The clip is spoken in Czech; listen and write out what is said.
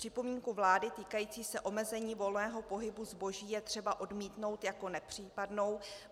Připomínku vlády týkající se omezení volného pohybu zboží je třeba odmítnout jako nepřípadnou.